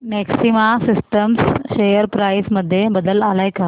maxima systems share price मध्ये बदल आलाय का